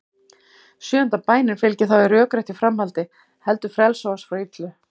Sjöunda bænin fylgir þá í rökréttu framhaldi: Heldur frelsa oss frá illu.